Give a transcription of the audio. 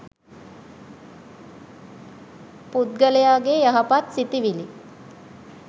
පුද්ගලයාගේ යහපත් සිතිවිලි